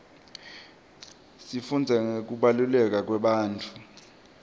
sifundza ngekubaluleka kwebantfu